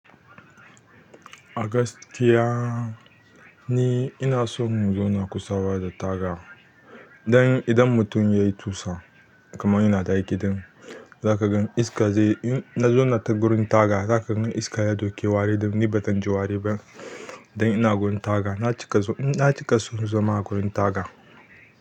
A gaskiya ni ina son in zauna kusa da taga. Don idan mutum ya yi tusa kamar ina da aiki, zan ga iska zai. Na zauna ta wurin taga, za ka gan iska ya ɗauke wari da ni ba zan ji wari ba. Don ina wurin taga na cika, na cika son zama a wurin taga.